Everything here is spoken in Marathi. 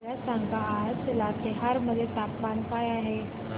मला सांगा आज लातेहार मध्ये तापमान काय आहे